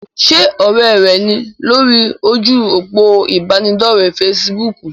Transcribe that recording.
Ṣé ọ̀rẹ́ rẹ ní lórí ojú òpó ìbánidọ́rẹ̀ fesibúùkù?